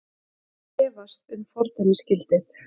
Efast um fordæmisgildið